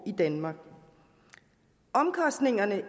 i danmark omkostningerne